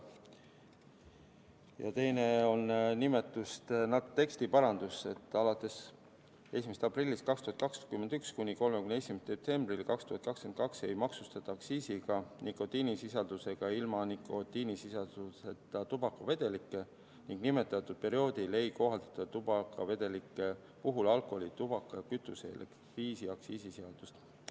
Ja teine on tekstiparandus: alates 1. aprillist 2021 kuni 31. detsembrini 2022 ei maksustata aktsiisiga nikotiinisisaldusega ja ilma nikotiinisisalduseta tubakavedelikke ning nimetatud perioodil ei kohaldata tubakavedelike puhul alkoholi-, tubaka-, kütuse- ja elektriaktsiisi seadust.